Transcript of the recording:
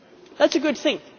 That is a good thing.